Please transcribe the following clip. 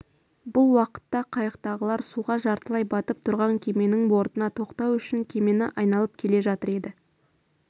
бұл уақытта қайықтағылар суға жартылай батып тұрған кеменің бортына тоқтау үшін кемені айналып келе жатыр еді